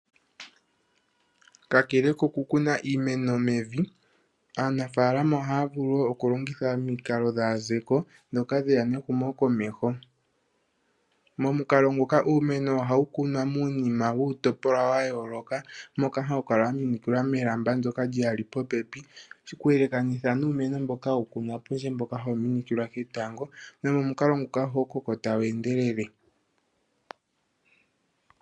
Kakele kokukuna iimeno mevi, aanafaalama ohaya vulu wo okulongitha omikalo dhaazeko ndhoka dhe ya nehumokomeho. Momukalo nguka uumeno ohawu kunwa muunima wuutopolwa wa yooloka moka hawu kala wa minikilwa kelamba ndyoka wu wu li popepi, okuyelekanitha nuumeno mboka hawu kunwa pondje mboka hawu minikilwa ketango nomomukalo muka ohawu koko tawu endelele.